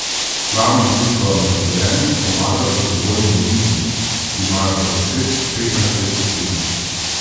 Članom društva na taborjenju pomagajo prostovoljni vodniki, ki imajo po deset, petnajst let izkušenj.